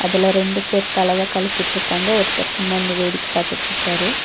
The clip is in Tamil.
அதுல ரெண்டு பேர் கலவெ கலக்கிட்ருக்காங்க ஒருத்தர் சும்மா நின்னு வேடிக்க பாத்துட்ருக்காரு.